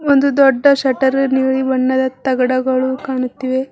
ಒಂದು ದೊಡ್ಡ ಶಟ್ಟರಿಲ್ಲಿದೆ ನೀಲಿ ಬಣ್ಣದ ತಗಡಗಳು ಕಾಣುತ್ತಿವೆ.